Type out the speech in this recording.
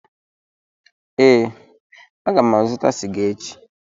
Ee, aga m azụta sịga echi.